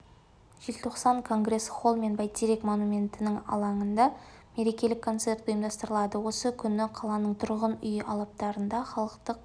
желтоқсан конгресс-холл мен бәйтерек монументінің алаңында мерекелік концерт ұйымдастырылады осы күні қаланың тұрғын үй алаптарында халықтық